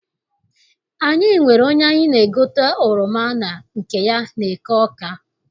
Anyị nwere onye anyị na-egote oroma na nke ya n'eke Awka.